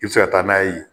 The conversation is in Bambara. I bɛ se ka taa n'a ye